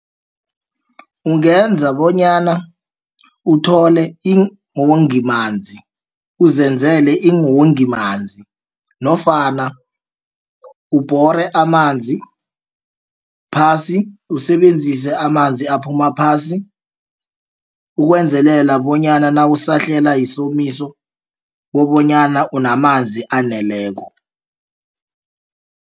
Ungenza bonyana uthole iinwongimanzi uzenzele iinwongimanzi nofana ubhore amanzi phasi usebenzise amanzi aphuma phasi. Ukwenzelela bonyana nawusahlela yisomiso kobonyana unamanzi aneleko.